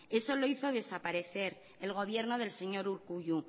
eso lo hizo desaparecer el gobierno del señor urkullu